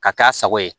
Ka k'a sago ye